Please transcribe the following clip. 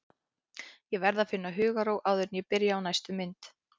Ég verð að finna hugarró áður en ég byrja á næstu mynd.